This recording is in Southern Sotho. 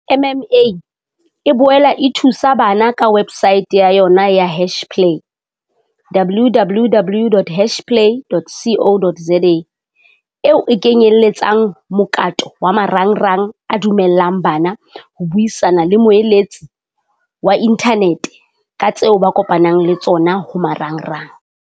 MMA e boela e thusa bana ka websaete ya yona ya Hashplay www.hashplay.co.za, eo e kenyeletsang mokato wa marangrang a dumella ng bana ho buisana le moeletsi wa inthaneteng ka tseo ba kopanang le tsona ho marangrang.